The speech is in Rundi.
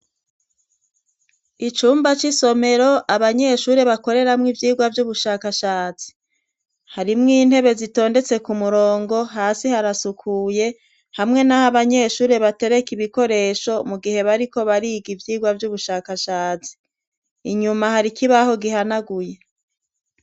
icumba c'isomero abanyeshuri bakoreramwo ivyigwa vy'ubushakashatsi harimwo intebe zitondetse ku murongo hasi harasukuye hamwe n'aho abanyeshuri batereka ibikoresho mu gihe bariko bariga ivyigwa by'ubushakashatsi inyuma hari ikibaho gihanaguye